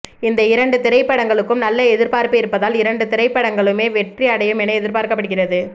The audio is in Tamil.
இந்த இரண்டு திரைப்படங்களுக்கும் நல்ல எதிர்பார்ப்பு இருப்பதால் இரண்டு படங்களுமே வெற்றி அடையும் என எதிர்பார்க்கப்படுகிறது